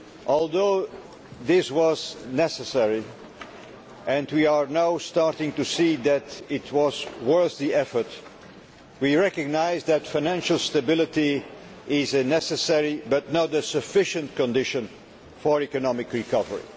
Although this was necessary and we are now starting to see that it was worth the effort we recognise that financial stability is a necessary but not a sufficient condition for economic recovery.